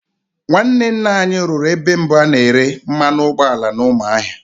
Nwanne nna anyị rụrụ ebe mbụ a na-ere mmanụ ụgbọala n'Ụmụahịa.